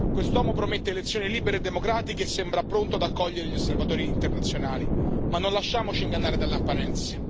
Quest'uomo promette elezioni libere e democratiche e sembra pronto ad accogliere gli osservatori internazionali, ma non lasciamoci ingannare dalle apparenze.